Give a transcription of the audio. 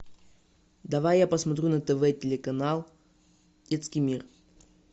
давай я посмотрю на тв телеканал детский мир